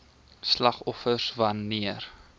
slagoffers wan neer